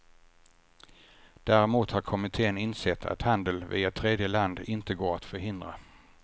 Däremot har kommitten insett att handel via tredje land inte går att förhindra.